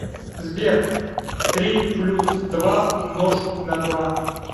сбер три плюс два умножить на два